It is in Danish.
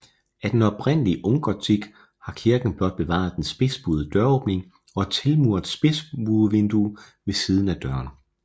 Af den oprindelige unggotik har kirken blot bevaret den spidsbuede døråbning og et tilmuret spidsbuevindue ved siden af døren